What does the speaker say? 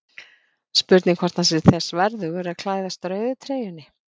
Spurning hvort hann sé þess verðugur að klæðast rauðu treyjunni?